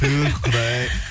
туһ құдай ай